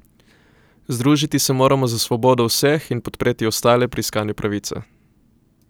Združiti se moramo za svobodo vseh in podpreti ostale pri iskanju pravice.